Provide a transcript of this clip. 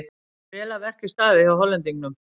Vel að verki staðið hjá Hollendingnum.